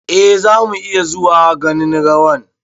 eh, zamu iya zuwa ganin rawan